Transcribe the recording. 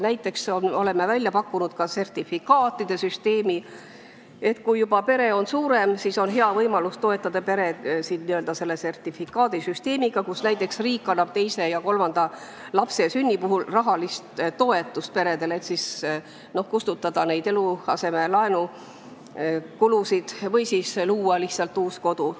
Näiteks oleme välja pakkunud sertifikaatide süsteemi, et riik annab perele teise ja kolmanda lapse sünni puhul rahalist toetust, selleks et eluasemelaenu kustutada või aidata lihtsalt uut kodu luua.